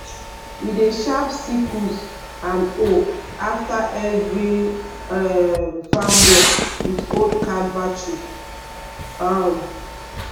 we dey sharp sickles and hoe after every um farm work with old car battery. um